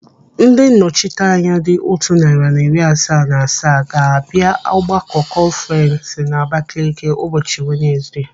Ndị nnọchiteanya dị otu narị na iri asaa na asaa ga-abịa ọgbakọ kọnfurens n'Abakele ụbọchị Wenezde.